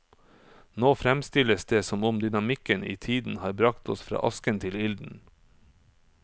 Nå fremstilles det som om dynamikken i tiden har bragt oss fra asken til ilden.